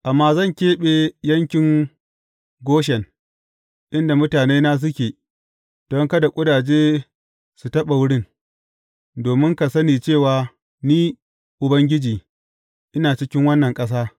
Amma zan keɓe yankin Goshen, inda mutanena suke don kada ƙudaje su taɓa wurin, domin ka sani cewa Ni, Ubangiji, ina cikin wannan ƙasa.